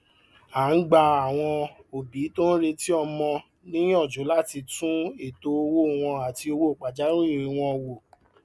a ń gba àwọn òbí tó ń retí ọmọ níyànjú láti tún ètò owó wọn àti owó pajawìrì wọn wo